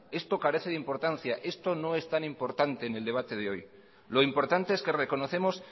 esto carece de importancia esto no es tan importante en el debate de hoy lo importante es que reconocemos